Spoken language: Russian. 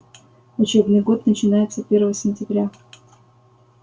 учебный год начинается первого сентября